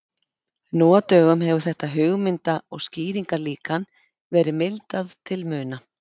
Nú á dögum hefur þetta hugmynda- og skýringarlíkan verið mildað til muna.